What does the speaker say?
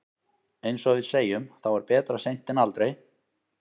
Eins og við segjum, þá er betra seint en aldrei.